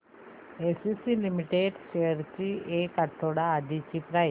ACC limited shares ची एक आठवड्या आधीची प्राइस